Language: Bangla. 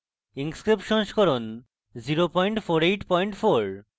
inkscape সংস্করণ 0484